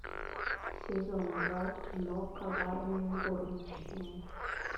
сезон два кино коварные горничные